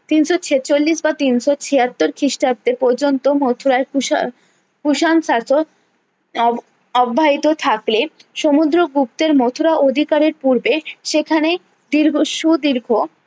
তিনশো ছেচল্লিশ বা তিনশো ছিয়াত্তর খিষ্টাব্দে পর্যন্ত মথুরায় কুষাণ কুষাণ শাসক অব অব্যাহিত থাকলে সমুদ্র গুপ্তের মথুরা অধিকারের পূর্বে সেখানে দীর্ঘ সুদীর্ঘ